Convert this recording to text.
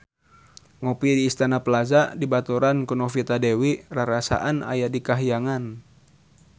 Ngopi di Istana Plaza dibaturan ku Novita Dewi rarasaan aya di kahyangan